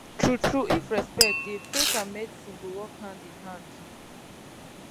true true if respect dey faith and medicine go work hand in hand